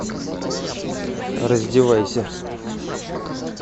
раздевайся